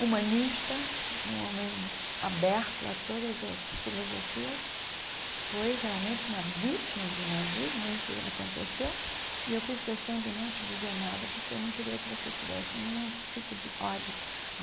humanista, um homem aberto a todas as filosofias, foi realmente uma vítima do nazismo, isso aconteceu, e eu fiz questão de não te dizer nada, porque eu não queria que você tivesse nenhum tipo de ódio.